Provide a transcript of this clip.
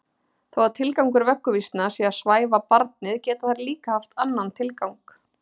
Þó að tilgangur vögguvísna sé að svæfa barnið geta þær líka haft annan tilgang.